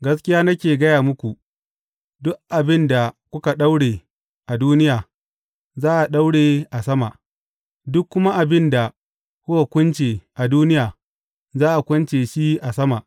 Gaskiya nake gaya muku, duk abin da kuka daure a duniya, za a daure a sama, duk kuma abin da kuka kunce a duniya, za a kunce shi a sama.